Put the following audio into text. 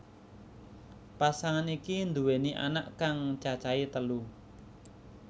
Pasangan iki nduweni anak kang cacahé telu